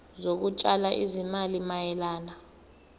zokutshala izimali mayelana